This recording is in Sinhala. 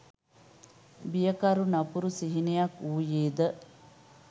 බියකරු නපුරු සිහිනයක් වුයේ ද?